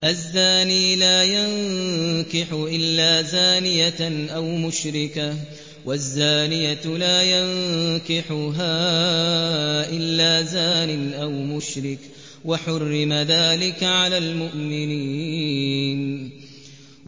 الزَّانِي لَا يَنكِحُ إِلَّا زَانِيَةً أَوْ مُشْرِكَةً وَالزَّانِيَةُ لَا يَنكِحُهَا إِلَّا زَانٍ أَوْ مُشْرِكٌ ۚ وَحُرِّمَ ذَٰلِكَ عَلَى الْمُؤْمِنِينَ